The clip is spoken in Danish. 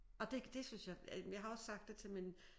Og det det synes jeg øh jeg har også sagt det til min